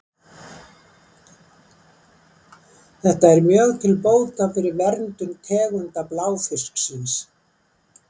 Þetta er mjög til bóta fyrir verndun tegunda bláfisksins.